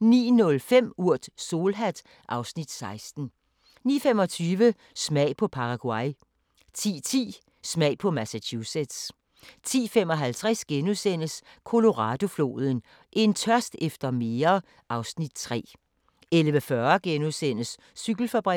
09:05: Urt: Solhat (Afs. 16) 09:25: Smag på Paraguay 10:10: Smag på Massachusetts 10:55: Colorado-floden: En tørst efter mere (Afs. 3)* 11:40: Cykelfabrikken *